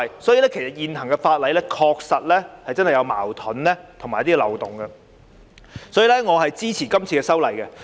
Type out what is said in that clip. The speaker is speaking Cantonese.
所以，現行法例確實有矛盾和漏洞。因此，我支持這次修例。